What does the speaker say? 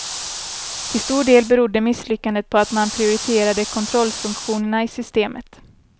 Till stor del berodde misslyckandet på att man prioriterade kontrollfunktionerna i systemet.